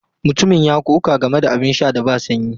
Mutumin ya ƙoƙa game da abin sha da ba sanyi.